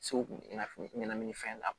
Segu i n'a fɔ ɲɛnɛmini fɛn labɛn